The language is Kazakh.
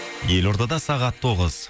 елордада сағат тоғыз